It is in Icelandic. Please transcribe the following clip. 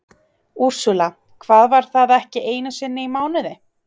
Úrsúla: Hvað var það ekki einu sinni í mánuði?